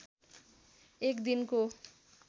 एक दिनको